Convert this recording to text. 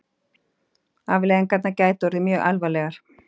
Afleiðingarnar gætu orðið mjög alvarlegar